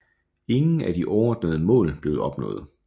Ingen af de overordnede mål blev opnået